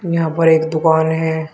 यहां पर एक दुकान है।